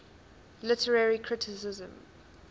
literary criticism